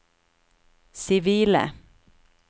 sivile